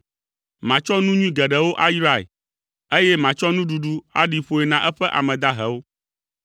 Matsɔ nu nyui geɖewo ayrae, eye matsɔ nuɖuɖu aɖi ƒoe na eƒe ame dahewo.